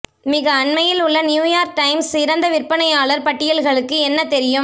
மிக அண்மையில் உள்ள நியூயார்க் டைம்ஸ் சிறந்த விற்பனையாளர் பட்டியல்களுக்கு என்ன தெரியும்